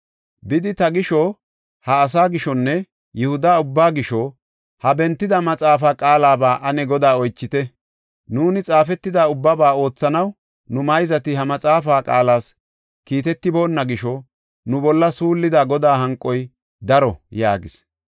“Bidi, ta gisho, ha asaa gishonne Yihuda ubbaa gisho, ha bentida maxaafa qaalaba ane Godaa oychite. Nuuni xaafetida ubbaba oothanaw, nu mayzati ha maxaafa qaalas kiitetiboonna gisho, nu bolla suullida Godaa hanqoy daro” yaagis.